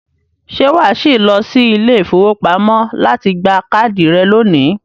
ṣé wà á sì lọ sí ilé-ìfowópamọ́ láti gba káàdì rẹ̀ lónìí?